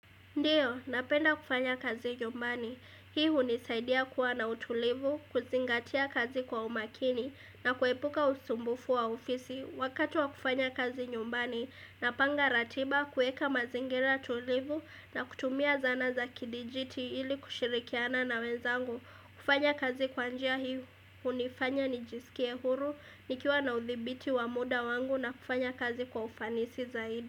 Ndiyo, napenda kufanya kazi nyumbani. Hii unisaidia kuwa na utulivu, kuzingatia kazi kwa umakini na kuepuka usumbufu wa ofisi. Wakati wa kufanya kazi nyumbani, napanga ratiba kueka mazingira tulivu na kutumia zana za kidijiti ili kushirikiana na wenzangu. Kufanya kazi kwanjia hii unifanya ni jisikie huru, nikiwa na uthibiti wa muda wangu na kufanya kazi kwa ufanisi zaidi.